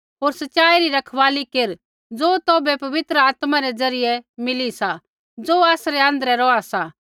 होर सच़ाई री रखवाली केर ज़ो तौभै पवित्र आत्मा रै ज़रियै मिली सा ज़ो आसरै आँध्रै रौहा सा